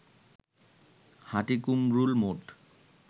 Hatikumrul mode